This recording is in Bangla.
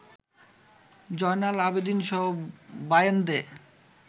জয়নাল আবেদীনসহ বাইন্ধে